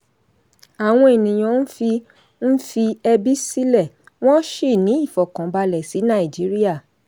àwọn ènìyàn ń fi ń fi ẹbí sílẹ̀ wọ́n ṣì ní ìfọ̀kànbalẹ̀ sí nàìjíríà.